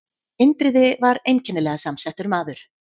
Indriði var einkennilega samsettur maður.